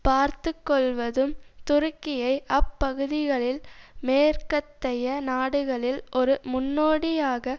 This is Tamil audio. பார்த்து கொள்வதும் துருக்கியை அப் பகுதிகளில் மேற்கத்தைய நாடுகளில் ஒரு முன்னோடியாக